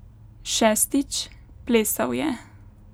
Šestič, plesal je.